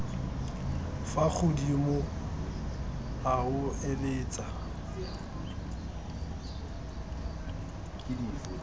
fa godimo a o eletsa